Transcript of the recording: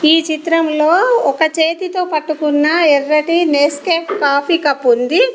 ఈ చిత్రంలో ఒక చేతితో పట్టుకున్న ఎర్రటి నెస్కేఫ్ కాఫీ కప్పుంది .